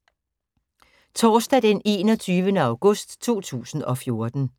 Torsdag d. 21. august 2014